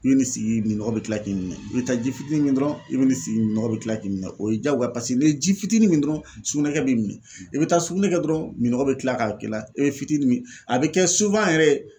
I bɛ nin sigi nin nɔgɔ bɛ tila k'i minɛ i bɛ taa ji fitinin min dɔrɔn i bɛ nin sigi nɔgɔ bɛ kila k'i minɛ o ye jagoya ye paseke ni ji fitinin dɔrɔn sugunɛkɛ b'i minɛ i bɛ taa sugunɛ kɛ dɔrɔn miɔgɔ bɛ kila k'a k'i la e bɛ fitinin min a bɛ kɛ yɛrɛ ye